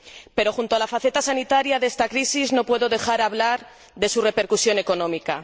Pero, junto a la faceta sanitaria de esta crisis, no puedo dejar de hablar de su repercusión económica.